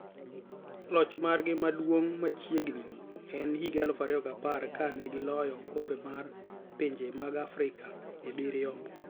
Loch margi maduong' machiegni en higa 2010 kanegi loyo okombemar pinje mag Afrika dibiriyo.